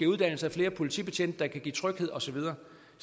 uddannelse af flere politibetjente der kan give tryghed og så videre